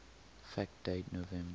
fact date november